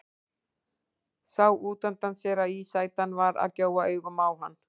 Sá útundan sér að ísætan var að gjóa augunum á hann.